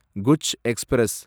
Kutch express